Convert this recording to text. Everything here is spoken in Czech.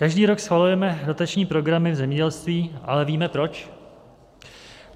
Každý rok schvalujeme dotační programy v zemědělství, ale víme proč?